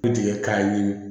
U tigɛ k'a ye